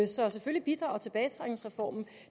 så selvfølgelig bidrager tilbagetrækningsreformen